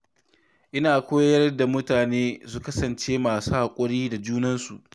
Ina koyar da mutane su kasance masu haƙuri da junansu.